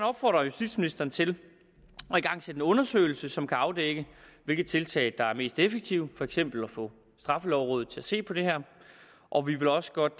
opfordre justitsministeren til at igangsætte en undersøgelse som kan afdække hvilke tiltag der er mest effektive for eksempel at få straffelovrådet til at se på det her og vi vil også godt